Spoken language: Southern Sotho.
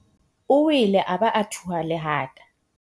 O wele a ba a thuha lehata.